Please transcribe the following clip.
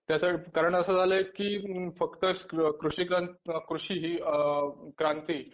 त्याचं कारण असं झालंय की फक्त कृषि अ कृषी ही क्रांती